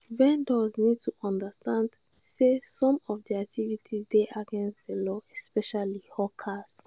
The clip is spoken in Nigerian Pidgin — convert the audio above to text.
vendors need to understand sey some of their activites dey against di law especially hawkers